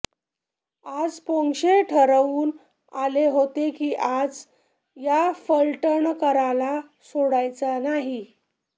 आज पोंक्षे ठरवून आले होते कि आज या फलटणकराला सोडायचा नाही